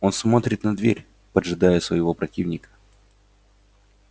он смотрит на дверь поджидая своего противника